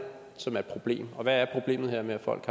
som er et problem hvad er problemet ved at folk